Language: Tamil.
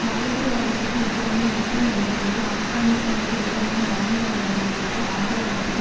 பயங்கரவாதத்துக்கு எதிரான யுத்தம் என்ற பெயரில் ஆப்கானிஸ்தானுக்கு எதிரான இராணுவ நடவடிக்கைக்கு ஆதரவளிப்பதில்